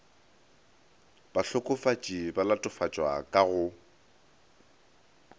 bahlokofatši ba latofatšwa ka go